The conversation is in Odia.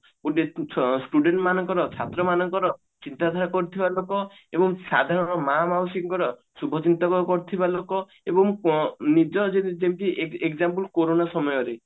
student ମାନଙ୍କର ଛାତ୍ର ମାନଙ୍କର ଚିନ୍ତା ଧାରା କରୁଥିବା ଲୋକ ଏବଂ ସାଧାରଣ ମା ମାଉସୀଙ୍କର ଶୁଭ ଚିନ୍ତକ କରୁଥିବା ଲୋକ ଏବଂ ପ ଯେମତି ଏ example ଯେମତି କୋରନା ସମୟରେ